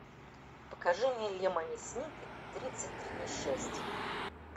покажи мне лемони сникет тридцать три несчастья